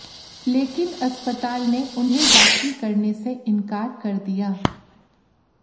लेकिन अस्पताल ने उन्हें दाखिल करने से इनकार कर दिया